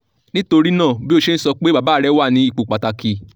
nitorina bi o ṣe n sọ pe baba rẹ wa ni ipo pataki